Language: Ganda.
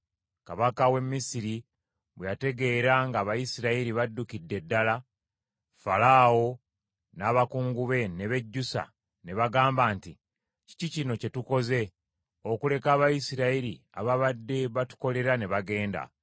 Kabaka w’e Misiri bwe yategeera ng’Abayisirayiri baddukidde ddala, Falaawo n’abakungu be ne bejjusa, ne bagamba nti, “Kiki kino kye tukoze, okuleka Abayisirayiri ababadde batukolera ne bagenda?”